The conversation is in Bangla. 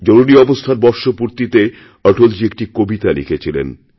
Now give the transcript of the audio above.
জরুরী অবস্থার বর্ষপূর্তিতে অটলজী একটি কবিতা লিখেছিলেন